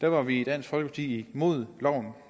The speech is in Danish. var vi i dansk folkeparti imod loven